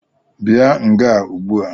Bia nga Ụgbua!